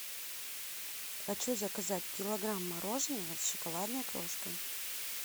хочу заказать килограмм мороженого с шоколадной крошкой